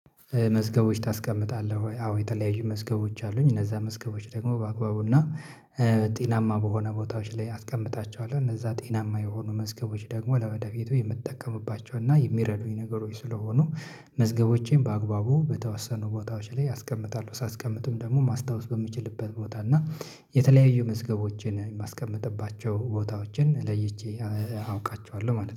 መዝገቦች ታስቀምጣለህ ወይ? አዎ የተለያዩ መዝገቦች አሉኝ እነዛን መዝገቦች ደግሞ በአግባቡ እና ጤናማ በሆነ ቦታዎች ላይ አስቀምጣቸዋለሁ። እነዛ ጤናማ የሆኑ መዝገቦች ደግሞ ለወደፊቱ የምጠቀምባቸው እና የሚረዱኝ ነገሮች ስለሆኑ መዝገቦቼን በአግባቡ በተወሰኑ ቦታዎች ላይ አስቀምጣለሁ ሳስቀምጥም ደግሞ ማስታወስ በምችልበት ቦታ እና የተለያዩ መዝገቦችን የማስቀምጥባቸው ቦታዎችን ለይቼ አውቃቸዋለሁ ማለት ነው